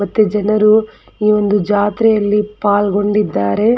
ಮತ್ತೆ ಜನರು ಈ ಒಂದು ಜಾತ್ರೆಯಲ್ಲಿ ಪಾಲ್ಗೊಂಡಿದ್ದಾರೆ.